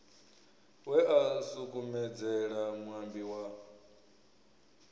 we a sukumedzela muambi wa